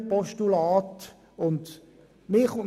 Es handelt sich um ein Richtlinienpostulat.